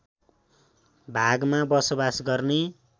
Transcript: भागमा बसोवास गर्ने